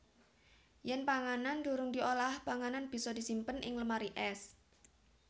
Yèn panganan durung diolah panganan bisa disimpen ing lemari ès